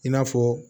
I n'a fɔ